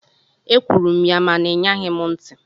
Ekwuru m ya mana ị ṅaghị m ntị.